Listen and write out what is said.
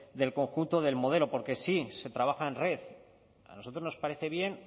del conjunto del modelo porque sí se trabaja en red a nosotros nos parece bien